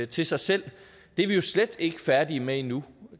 til sig selv det er vi jo slet ikke færdige med endnu